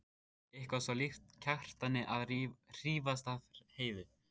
Eitthvað svo líkt Kjartani að hrífast af Heiðu.